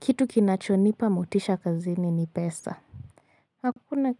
Kitu kinachonipa motisha kazini ni pesa. Hakuna